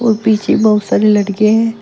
और पीछे बहुत सारे लड़के है।